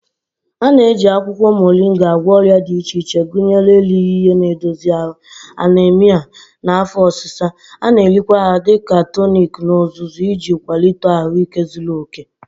A na-eji akwụkwọ Moringa agwọ ọrịa dị iche iche gụnyere erighị ihe na-edozi ahụ, anaemia, na afọ ọsịsa. A na-erikwa ha dị ka tonic n'ozuzu iji kwalite ahụike zuru oke.